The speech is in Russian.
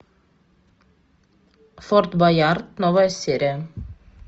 форт боярд новая серия